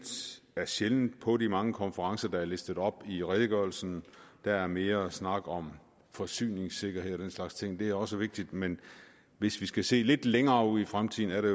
er sjældent oppe på de mange konferencer der er listet op i redegørelsen der er mere snak om forsyningssikkerhed og den slags ting og det er også vigtigt men hvis vi skal se lidt længere ud i fremtiden er det